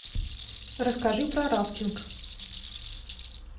расскажи про рафтинг